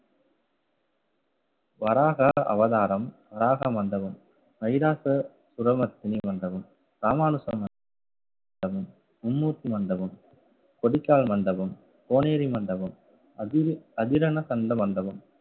வராக அவதாரம், வராக மண்டபம், மகிஷாசுரமர்த்தினி மண்டபம், ராமானுஜம் மண்டபம் மும்மூர்த்தி மண்டபம், கொடிகால் மண்டபம், கோனேரி மண்டபம், அதி~ அதிரன சந்த மண்டபம்